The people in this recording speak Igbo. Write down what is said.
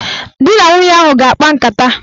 Dị na nwunye ahụ a ga-akpa nkata?